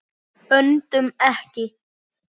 Öndum ekki.